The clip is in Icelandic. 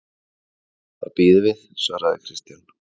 Þá bíðum við, svaraði Christian.